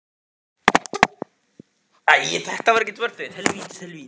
Það var ekki nema satt og rétt.